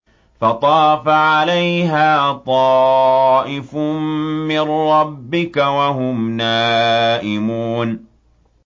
فَطَافَ عَلَيْهَا طَائِفٌ مِّن رَّبِّكَ وَهُمْ نَائِمُونَ